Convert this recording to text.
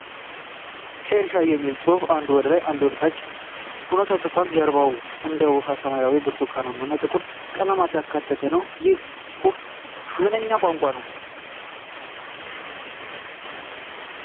ኬር ሻዶ የሚል ጽሁፍ አንዱ ወደ ላይ አንዱ ደግሞ ወደ ታች ሆኖ ተጽፏል። ጀርባውም እንደ ዉሃ ሰማያዊ፣ ብርቱካናማ እና ጥቁር ቀለማትን ያካተተ ነው። ይህ ጽሁፍ ምነኛ ቋንቋ ነው?